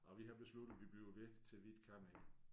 Og vi har besluttet vi bliver ved til vi ikke kan mere